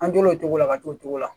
An tol'o cogo la ka to o cogo la